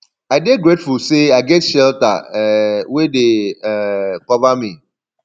i dey grateful say i get shelter um wey dey um cover me